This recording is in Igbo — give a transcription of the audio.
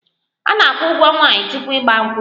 A na-akwụ ụgwo nwaanyi tupu 'igba nkwu'